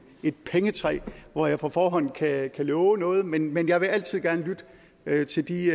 et pengetræ hvor jeg på forhånd kan love noget men men jeg vil altid gerne lytte til de